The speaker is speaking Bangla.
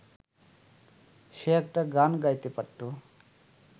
সে একটা গান গাইতে পারত।